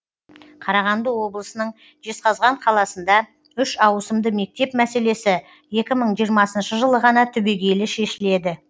қарағанды облысының жезқазған қаласында үш ауысымды мектеп мәселесі екі мың жиырмасыншы жылы ғана түбегейлі шешіледі